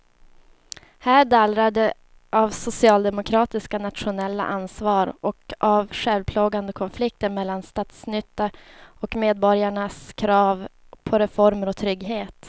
Här dallrar det av socialdemokratiskt nationellt ansvar och av självplågande konflikter mellan statsnyttan och medborgarnas krav på reformer och trygghet.